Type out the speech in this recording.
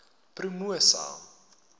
promosa